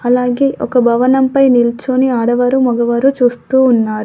అలాగే ఒక భవనంపై నిల్చొని ఆడవారు మగవారు చూస్తూ ఉన్నారు.